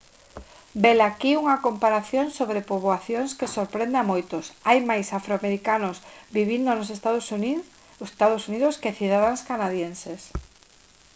velaquí unha comparación sobre poboacións que sorprende a moitos hai máis afroamericanos vivindo nos ee uu que cidadáns canadenses